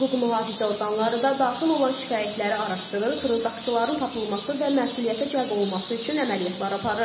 Hüquq mühafizə orqanları da daxil olan şikayətləri araşdırır, fırıldaqçıların tapılması və məsuliyyətə cəlb olunması üçün əməliyyatlar aparır.